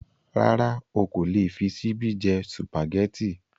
Rárá o kò lè fi ṣíbí jẹ́ Sùpàgẹ́tì